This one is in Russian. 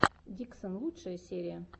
диксон лучшая серия